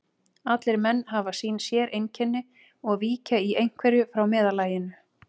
Allir menn hafa sín séreinkenni og víkja í einhverju frá meðallaginu.